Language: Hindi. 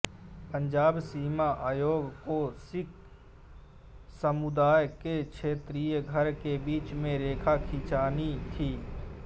पंजाब सीमा आयोग को सिख समुदाय के क्षेत्रीय घर के बीच से रेखा खींचनी थी